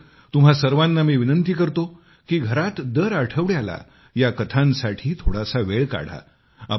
मात्र तुम्हा सर्वांना मी आग्रहाने विनंती करतो की घरात दर आठवड्याला या कथांसाठी थोडासा वेळ काढा